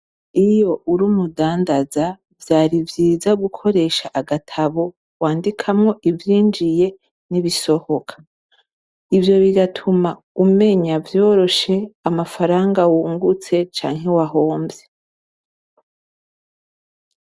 Iyo uri umudandaza vyari vyiza gukoresha agatabo wandikamwo ivyinjiye nibisohoka, ivyo bigatuma umenya vyoroshe amafranga wungutse canke wahomvye.